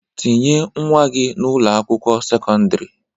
Tinye nwa gi na Ụlọ akwụkwọ sekọndrị.